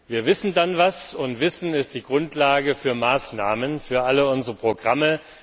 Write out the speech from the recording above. Wir wissen dann etwas, und Wissen ist die Grundlage für Maßnahmen, für alle unsere Programme.